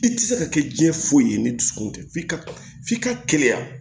I tɛ se ka kɛ diɲɛ foyi ye ni dusukun tɛ f'i ka kɛnɛya